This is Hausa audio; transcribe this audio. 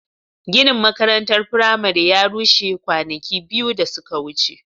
Ginin makarantar firamare ya rushe kwanaki biyu da suka wuce.